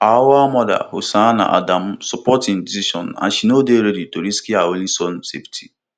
auwal mother hussaina adamu support im decision and she no dey ready to risk her only son safety